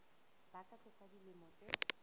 ba ka tlasa dilemo tse